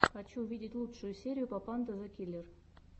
хочу увидеть лучшую серию папанда зэ киллер